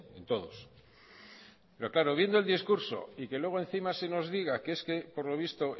en todos pero claro viendo el discurso y que luego encima se nos diga que es que por lo visto